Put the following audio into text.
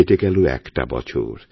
কেটে গেল একটা বছর